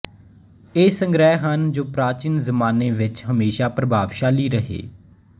ਇਹ ਸੰਗ੍ਰਹਿ ਹਨ ਜੋ ਪ੍ਰਾਚੀਨ ਜ਼ਮਾਨੇ ਵਿੱਚ ਹਮੇਸ਼ਾ ਪ੍ਰਭਾਵਸ਼ਾਲੀ ਰਹੇ